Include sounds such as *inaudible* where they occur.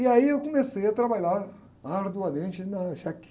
E aí eu comecei a trabalhar arduamente na. *unintelligible*